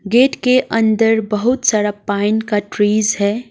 Gate के अंदर बहुत सारा पाइन का ट्रीज है।